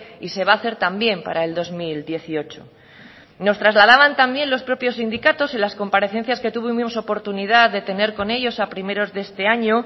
y se va a hacer también para el dos mil dieciocho nos trasladaban también los propios sindicatos en las comparecencias que tuvimos oportunidad de tener con ellos a primeros de este año